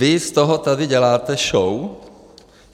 Vy z toho tady děláte show.